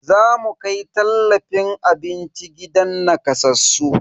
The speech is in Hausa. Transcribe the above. Zamu kai tallafin abinci gidan nakasassu.